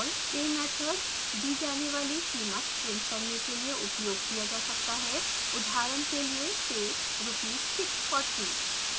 pay method दी जाने वाली कीमत print करने के लिए उपयोग किया जा सकता है उदाहरण के लिए pay rs 640